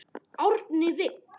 Árni Vill.